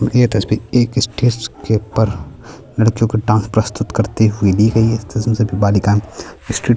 यह तस्वीर एक स्टेज के ऊपर लड़कियों के डांस प्रस्तुत करते हुए ली गयी है इस तस्वीर में सभी बालिकाए स्टेज -